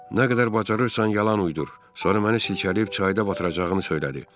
Nə qədər bacarırsan yalan uydur, sonra məni silkələyib çayda batıracağını söylədi.